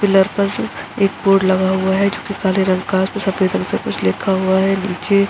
Pillar पर जो एक बोर्ड लगा हुआ है जोकि काले रंग का है और उसपे सफ़ेद रंग से कुछ लिखा हुआ है। नीचे --